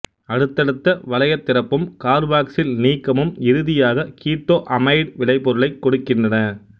அடுத்தடுத்த வளையத் திறப்பும் கார்பாக்சில் நீக்கமும் இறுதியாக கீட்டோ அமைடு விளைபொருலைக் கொடுக்கின்றன